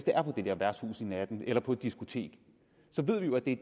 er på et værtshus om natten eller på et diskotek ved vi jo at det